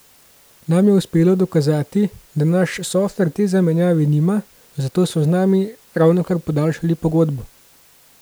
Nam je uspelo dokazati, da naš softver te zamenjave nima, zato so z nami ravnokar podaljšali pogodbo.